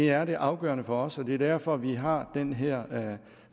er det afgørende for os og det er derfor vi har den her